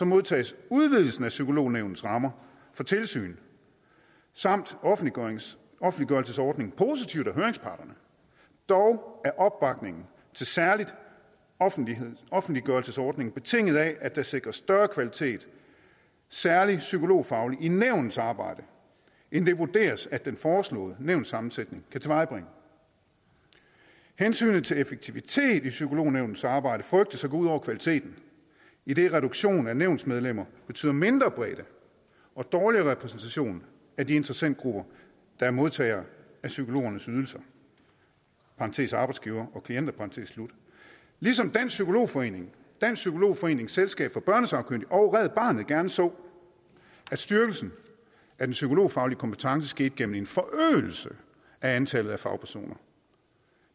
modtages udvidelsen af psykolognævnets rammer for tilsyn samt offentliggørelsesordningen positivt af høringsparterne dog er opbakningen til særlig offentliggørelsesordningen betinget af at der sikres større kvalitet særlig psykologfagligt i nævnets arbejde end det vurderes at den foreslåede nævnssammensætning kan tilvejebringe hensynet til effektivitet i psykolognævnets arbejde frygtes at gå ud over kvaliteten idet reduktion af nævnsmedlemmer betyder mindre bredde og dårligere repræsentation af de interessentgrupper der er modtagere af psykologernes ydelser i parentes arbejdsgivere og firmaer ligesom dansk psykolog forening dansk psykolog forenings selskab for børnesagkyndige og red barnet gerne så at styrkelsen af den psykologfaglige kompetence skete gennem en forøgelse af antallet af fagpersoner